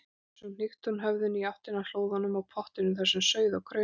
Svo hnykkti hún höfðinu í áttina að hlóðunum og pottinum þar sem sauð og kraumaði.